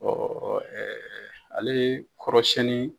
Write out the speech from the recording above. Ɔɔ ɛɛ ale kɔrɔ siɲɛni